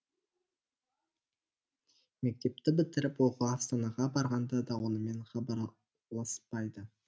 мектепті бітіріп оқуға астанаға барғанда да онымен хабарласпайды